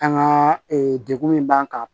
An ka degun min b'an kan